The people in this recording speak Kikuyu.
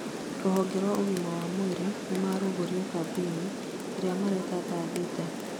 Rũhonge rwa ũgima wa mwĩrĩ nĩrwarugũria kambeĩni iria mareta Thaa thita'